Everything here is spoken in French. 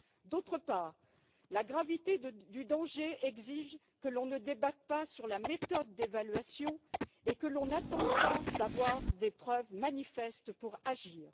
D'autre part, la gravité du danger exige que l'on ne débatte pas sur la méthode d'évaluation et que l'on n'attende pas d'avoir des preuves manifestes pour agir.